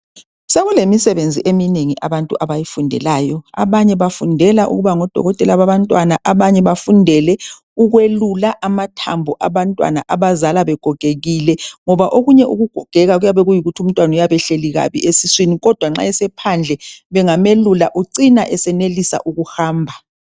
Sekulemisebenzi eminengi abantu abayifundelayo, abanye bafundela ukuba ngodokotela babantwana, abanye bafundele ukwelula amathambo abantwana abazalwa begogekile. Ngoba okunye ukugogeka kuyabe kuyikuthi bayabe behleli kabi esiswini kodwa nxa esephandle bengamelula ucina esenelisa ukuhamba.